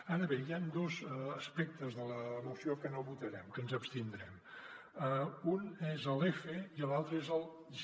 ara bé hi han dos aspectes de la moció que no votarem que ens hi abstindrem un és l’f i l’altre és el g